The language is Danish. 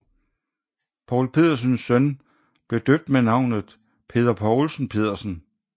Poul Pedersens søn blev døbt med navnet Peder Poulsen Pedersen